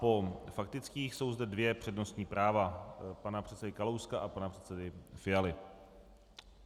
Po faktických jsou zde dvě přednostní práva - pana předsedy Kalouska a pana předsedy Fialy.